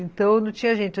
Então, não tinha gente.